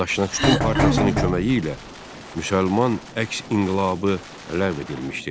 Daşnak sütun partiyasının köməyi ilə müsəlman əks inqilabı ləğv edilmişdir.